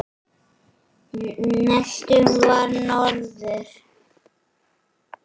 Næstur var norður.